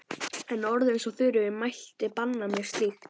En orð eins og Þuríður mælti banna mér slíkt.